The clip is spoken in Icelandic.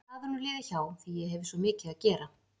En það er nú liðið hjá því ég hefi svo mikið að gera.